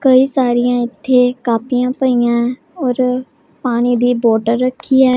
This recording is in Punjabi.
ਕਈ ਸਾਰੀਆਂ ਇੱਥੇ ਕਾਪੀਆਂ ਪਈਆਂ ਔਰ ਪਾਣੀ ਦੀ ਬੋਟੇਲ ਰੱਖੀ ਹੈ।